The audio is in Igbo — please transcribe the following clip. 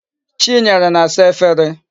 Chinyere na-asa Efere